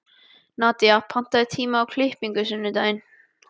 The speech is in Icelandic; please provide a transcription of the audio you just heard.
Nadía, pantaðu tíma í klippingu á sunnudaginn.